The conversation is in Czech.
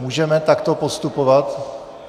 Můžeme takto postupovat?